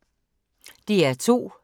DR2